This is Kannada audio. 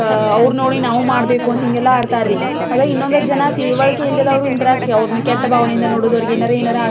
ಅಹ್ ಅವ್ರ್ನ ನೋಡಿ ನಾವು ಮಾಡಬೇಕು ಅಂತ ಹಿಂಗೆಲ್ಲಾ ಆಡ್ತಾರರೀ. ಅದ ಇನ್ನೊಂದಿಷ್ಟ್ ಜನ ತಿಳುವಳಿಕಿ ಇಲ್ಲದಿದ್ದವರು ಹಿಂತ್ರಾಗ್ರಿ ಅವ್ರುನ ಕೆಟ್ಟ ಬಾವನೆಯಿಂದ ನೋಡದು. ಅವರಿಗೆ ಏನರೆ ಏನರೆ --